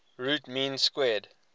root mean square